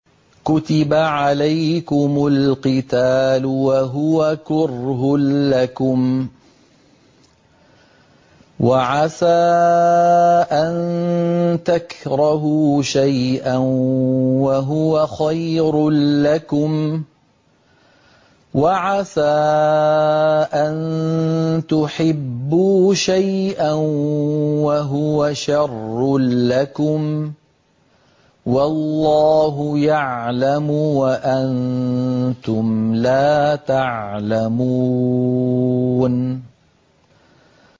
كُتِبَ عَلَيْكُمُ الْقِتَالُ وَهُوَ كُرْهٌ لَّكُمْ ۖ وَعَسَىٰ أَن تَكْرَهُوا شَيْئًا وَهُوَ خَيْرٌ لَّكُمْ ۖ وَعَسَىٰ أَن تُحِبُّوا شَيْئًا وَهُوَ شَرٌّ لَّكُمْ ۗ وَاللَّهُ يَعْلَمُ وَأَنتُمْ لَا تَعْلَمُونَ